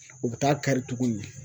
U bɛ taa kari tuguni